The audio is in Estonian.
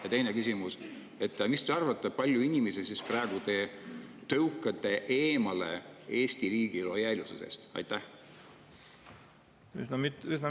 Ja teine küsimus: mis te arvate, kui palju inimesi te praegu tõukate eemale lojaalsusest Eesti riigile?